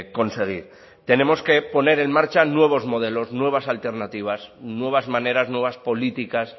conseguir tenemos que poner en marcha nuevos modelos nuevas alternativas nuevas maneras nuevas políticas